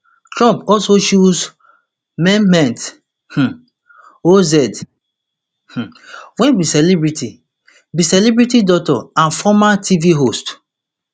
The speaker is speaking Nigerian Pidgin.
trump also choose mehmet um oz um wey be celebrity be celebrity doctor and former tv host